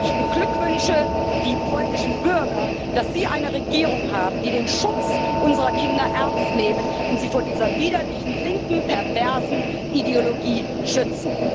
Ich beglückwünsche die polnischen Bürger, dass sie eine Regierung haben, die den Schutz unserer Kinder ernst nimmt und sie vor dieser widerlichen linken, perversen Ideologie schützt.